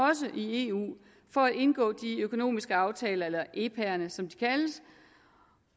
i eu for at indgå de økonomiske aftaler eller epaerne som de kaldes